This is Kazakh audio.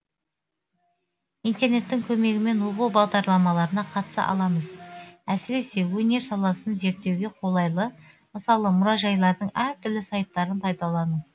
интернеттің көмегімен оқу бағдарламаларына қатыса аламыз әсіресе өнер саласын зерттеуге қолайлы мысалы мұражайлардың әр түрлі сайттарын пайдалану